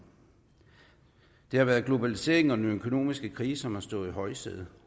det har været globaliseringen og den økonomiske krise som har stået i højsædet